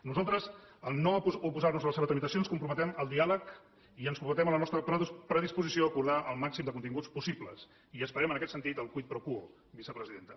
nosaltres en no oposar nos a la seva tramitació ens comprometem al diàleg i ens comprometem a la nostra predisposició a acordar el màxim de continguts possibles i esperem en aquest sentit el quid pro quo vicepresidenta